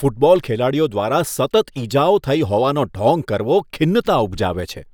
Football ખેલાડીઓ દ્વારા સતત ઈજાઓ થઈ હોવાનો ઢોંગ કરવો ખિન્નતા ઉપજાવે છે.